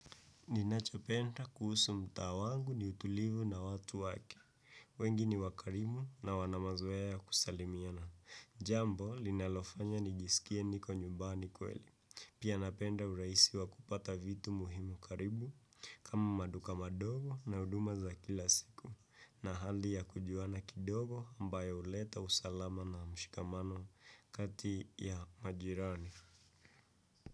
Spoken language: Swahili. Ninachopenda kuhusu mtaa wangu ni utulivu na watu wake, wengi ni wakarimu na wanamazoea ya kusalimiana, jambo linalofanya nijisikie niko nyumbani kweli. Pia napenda huraisi wa kupata vitu muhimu karibu, kama maduka madogo na uduma za kila siku, na hali ya kujuana kidogo ambayo uleta usalama na mshikamano kati ya majirani.